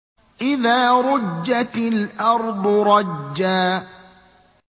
إِذَا رُجَّتِ الْأَرْضُ رَجًّا